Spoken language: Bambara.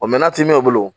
O mɛ n'a ti mɛ olu bolo